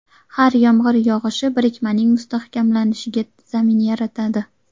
Har yomg‘ir yog‘ishi birikmaning mustahkamlanishiga zamin yaratadi.